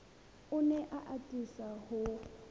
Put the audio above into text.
o ne a atisa ho